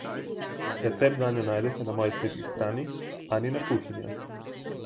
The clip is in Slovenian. Recept zanjo najdete na moji spletni strani Anina kuhinja.